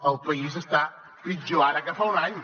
el país està pitjor ara que fa un any